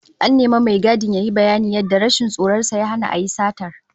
An nemi mai gadin yayi bayanin yadda rashin tsoron sa ya hana a yi satar